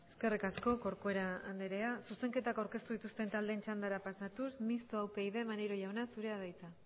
eskerrik asko corcuera andrea zuzenketak aurkeztu dituzten taldeen txandara pasatuz mistoa upyd maneiro jauna zurea da hitza